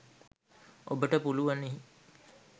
ඔබට පුලුවනි